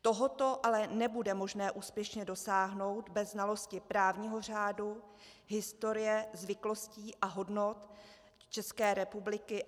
Toho ale nebude možné úspěšně dosáhnout bez znalosti právního řádu, historie, zvyklostí a hodnot České republiky.